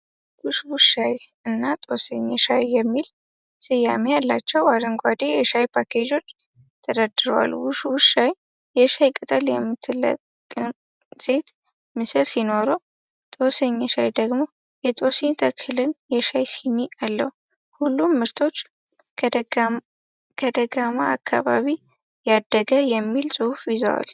"ውሽውሽ ሻይ" እና "ጦስኝ ሻይ"የሚል ስያሜ ያላቸው አረንጓዴ የሻይ ፓኬጆች ተደርድረዋል።"ውሽ ውሽ ሻይ" የሻይ ቅጠል የምትለቅም ሴት ምስል ሲኖረው፣ "ጦስኝ ሻይ" ደግሞ የጦስኝ ተክልና የሻይ ሲኒ አለው። ሁሉም ምርቶች "ከደጋማ አካባቢ ያደገ" የሚል ጽሑፍ ይዟል።